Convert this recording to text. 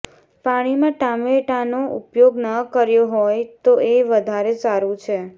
પાણીમાં ટામેટાનો ઉપયોગ ન કર્યો હોય તો એ વધારે સારું છે